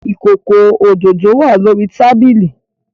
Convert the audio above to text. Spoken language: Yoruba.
Ikoko ododo wa lori tabili